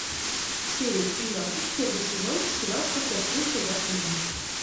серия семнадцать первый сезон сериал как я встретил вашу маму